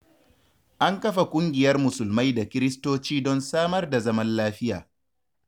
An kafa ƙungiyar musulmai da kiristoci don samar da zaman lafiya.